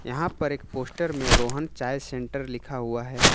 यहां पर एक पोस्टर में रोहन चाय सेन्टर लिखा हुआ है।